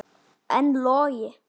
En Logi?